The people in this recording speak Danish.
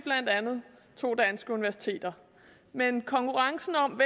to danske universiteter men konkurrencen om